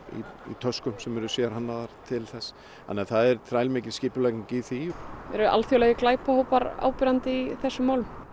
í töskum sem eru sérhannaðar til þess það er þrælmikil skipulagning í því eru alþjóðlegir glæpahópar áberandi í þessum málum